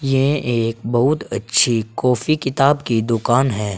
यह एक बहुत अच्छी कॉफी किताब की दुकान है।